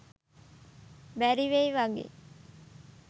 බැරිවෙයි වගේ.